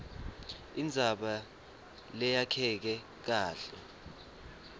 indzaba leyakheke kahle